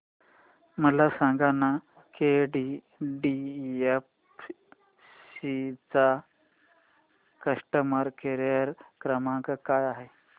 मला सांगाना केटीडीएफसी चा कस्टमर केअर क्रमांक काय आहे